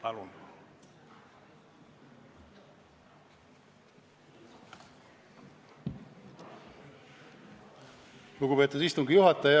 Lugupeetud istungi juhataja!